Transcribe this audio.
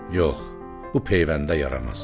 Yox, bu peyvəndə yaramaz.